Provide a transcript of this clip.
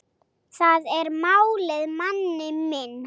Það er málið, manni minn.